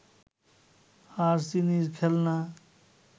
আর চিনির খেলনা